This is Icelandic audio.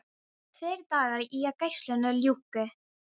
Tveir dagar í að gæslunni ljúki.